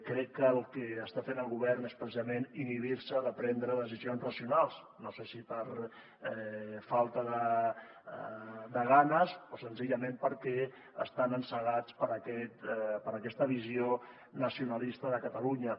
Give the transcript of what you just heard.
crec que el que està fent el govern és precisament inhibir se de prendre decisions racionals no sé si per falta de ganes o senzillament perquè estan encegats per aquesta visió nacionalista de catalunya